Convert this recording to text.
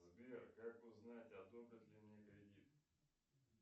сбер как узнать одобрят ли мне кредит